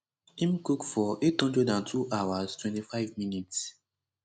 im cook for 802 hours 25 minutes